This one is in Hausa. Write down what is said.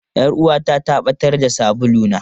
Yar uwata ta ɓatar da sabuluna.